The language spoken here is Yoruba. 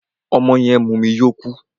Ọmọ yẹn mumu yó kú.